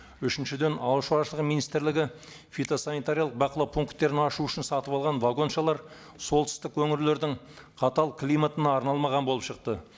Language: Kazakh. үшіншіден ауыл шаруашылығы министрлігі фитосанитариялық бақылау пункттерін ашу үшін сатып алған вагоншалар солтүстік өңірлердің қатал климатына арналмаған болып шықты